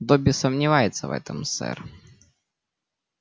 добби сомневается в этом сэр